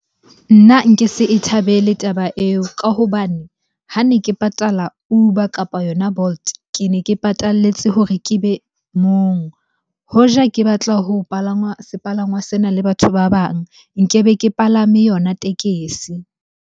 Nna nke se e thabele taba eo ka hobane ha ne ke patala Uber kapa yona Bolt, ke ne ke patalletse hore ke be mong. Hoja ke batla ho palangwa sepalangwa sena le batho ba bang, nkebe ke palame yona tekesi.